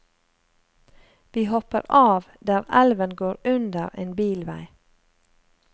Vi hopper av der elven går under en bilvei.